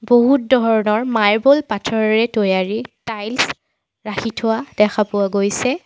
বহুত ধৰণৰ মাৰ্বল পাথৰেৰে তৈয়াৰী টাইলছ ৰাখি থোৱা দেখা পোৱা গৈছে।